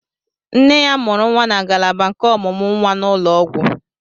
Nne ya mụrụ nwa na ngalaba nke ọmụmụ nwa n'ụlọ ọgwụ.